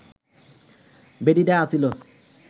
বেডিডা আছিল